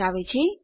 દર્શાવે છે